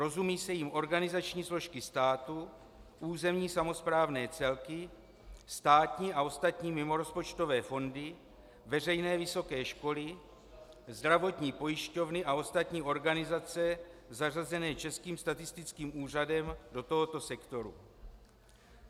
Rozumějí se jím organizační složky státu, územní samosprávné celky, státní a ostatní mimorozpočtové fondy, veřejné vysoké školy, zdravotní pojišťovny a ostatní organizace zařazené Českým statistickým úřadem do tohoto sektoru.